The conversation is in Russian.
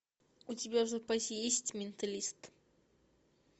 у тебя в запасе есть менталист